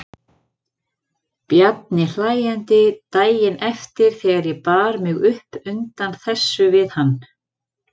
Bjarni hlæjandi daginn eftir þegar ég bar mig upp undan þessu við hann.